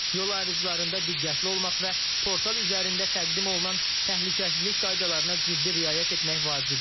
Yol ayrıclarında diqqətli olmaq və portal üzərində təqdim olunan təhlükəsizlik qaydalarına ciddi riayət etmək vacibdir.